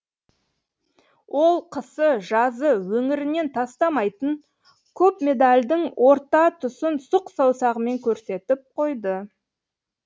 ол қысы жазы өңірінен тастамайтын көп медалдің орта тұсын сұқ саусағымен көрсетіп қойды